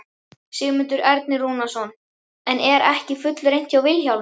Sigmundur Ernir Rúnarsson: En er ekki fullreynt með Vilhjálm?